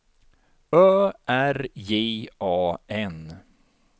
Ö R J A N